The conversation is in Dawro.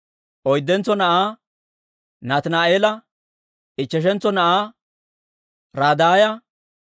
oyddentso na'aa Nataani'eela, ichcheshantso na'aa Raddaaya,